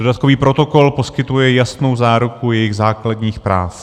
Dodatkový protokol poskytuje jasnou záruku jejich základních práv.